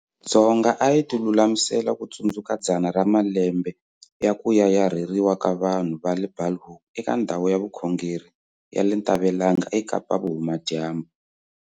Dzonga a hi tilulamisela ku tsundzuka dzana ra malembe ya ku Yayarheriwa ka vanhu ka le Bulhoek eka ndhawu ya vukhongeri ya le Ntabelanga eKapa-Vuhumadyambu.